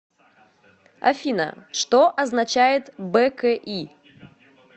афина что означает бки